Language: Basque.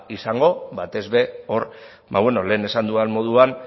izango batez ere hor lehen esan dudan moduan